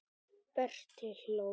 Berti hló.